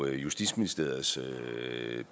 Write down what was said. justitsministeriets